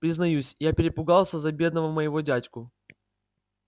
признаюсь я перепугался за бедного моего дядьку